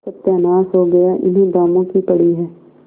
सत्यानाश हो गया इन्हें दामों की पड़ी है